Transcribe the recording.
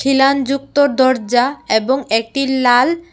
খিলান যুক্ত দরজা এবং একটি লাল--